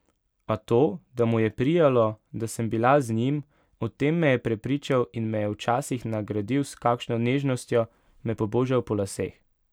A to, da mu je prijalo, da sem bila z njim, o tem me je prepričal in me je včasih nagradil s kakšno nežnostjo, me pobožal po laseh.